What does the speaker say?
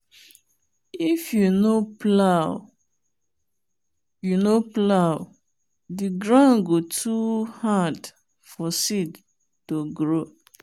if you no plow you no plow the ground go too hard for seed to grow.